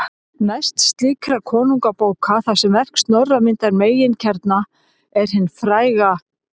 Mest slíkra konungabóka, þar sem verk Snorra myndar meginkjarna, er hin fræga